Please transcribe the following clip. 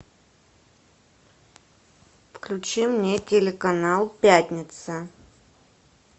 включи мне телеканал пятница